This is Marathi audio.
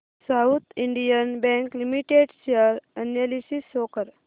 south Indian bank limited share analysis show कर